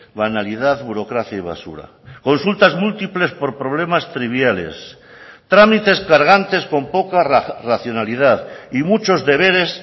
banalidad burocracia y basura consultas múltiples por problemas triviales trámites cargantes con poca racionalidad y muchos deberes